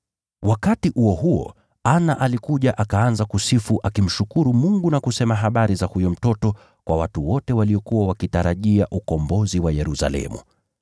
Wakati huo huo, Ana alikuja akaanza kusifu, akimshukuru Mungu na kusema habari za huyo mtoto kwa watu wote waliokuwa wakitarajia ukombozi wa Yerusalemu.